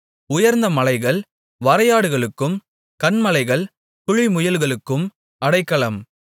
உயர்ந்த மலைகள் வரையாடுகளுக்கும் கன்மலைகள் குழிமுயல்களுக்கும் அடைக்கலம்